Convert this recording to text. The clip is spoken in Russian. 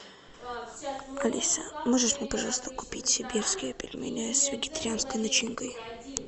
алиса можешь мне пожалуйста купить сибирские пельмени с вегетарианской начинкой